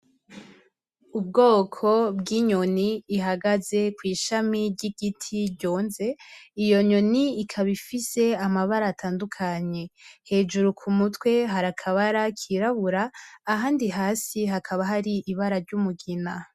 Ubwoko bw'inyoni ihagaze kw'ishami ry'igiti ryonze, iyo nyoni ikaba ifise amabara atandukanye, hejuru k'umutwe hari akabara k'irabura ahandi hasi hakaba hari ibara ry'umugina.